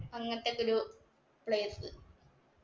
അങ്ങനത്തെ ഒക്കെ ഒരു place.